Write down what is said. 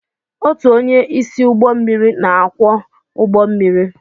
Otu onye isi ụgbọ mmiri na-akwọ ụgbọ mmiri.